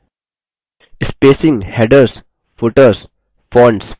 spacing headers footers fonts पर ध्यान दीजिये